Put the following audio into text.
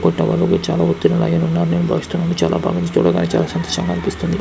చాల సంతోషంగా అనిపిస్తుంది.